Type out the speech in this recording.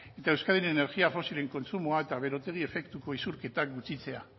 eta euskadiren energia fosilen kontsumoa eta berotegi efektuko isurketak gutxitzea